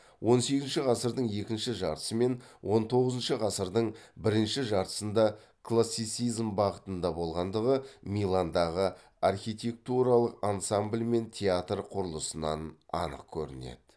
он сегізінші ғасырдың екінші жартысы мен он тоғызыншы ғасырдың бірінші жартысында классицизм бағытында болғандығы миландағы архитектуралық ансамбль мен театр құрылысынан анық көрінеді